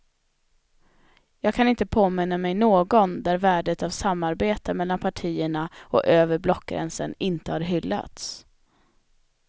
Jag kan inte påminna mig någon där värdet av samarbete mellan partierna och över blockgränsen inte har hyllats.